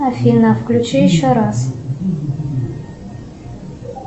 афина включи еще раз